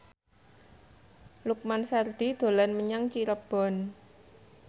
Lukman Sardi dolan menyang Cirebon